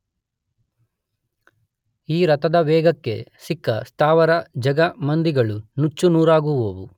ಈ ರಥದ ವೇಗಕ್ಕೆ ಸಿಕ್ಕ ಸ್ಥಾವರ ಜಂಗಮಾದಿಗಳು ನುಚ್ಚುನೂರಾಗುವುವು.